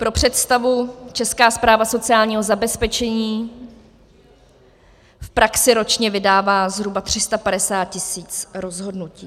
Pro představu, Česká správa sociálního zabezpečení v praxi ročně vydává zhruba 350 tisíc rozhodnutí.